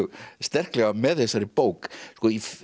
sterklega með þessari bók sko